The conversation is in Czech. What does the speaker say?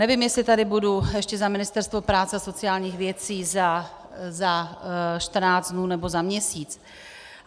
Nevím, jestli tady budu ještě za Ministerstvo práce a sociálních věcí za 14 dnů nebo za měsíc.